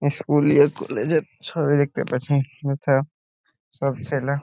school college -এর ছবি দেখতে পাচ্ছি | এটা সব ছেলে --